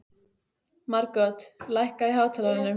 Margot, lækkaðu í hátalaranum.